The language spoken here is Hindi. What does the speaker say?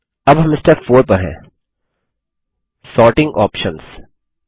अब हम स्टेप 4 पर हैं सॉर्टिंग आप्शंस